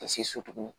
Ka se so tuguni